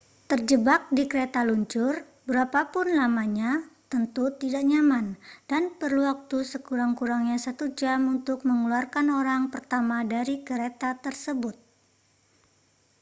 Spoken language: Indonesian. terjebak di kereta luncur berapa pun lamanya tentu tidak nyaman dan perlu waktu sekurang-kurangnya satu jam untuk mengeluarkan orang pertama dari kereta tersebut